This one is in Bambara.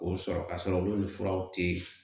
O sɔrɔ ka sɔrɔ olu ni furaw tɛ